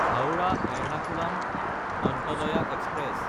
Howrah-Ernakulam অন্ত্যদয়া express